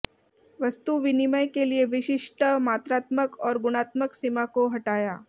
वस्तु विनिमय के लिए विशिष्ट मात्रात्मक और गुणात्मक सीमा को हटाया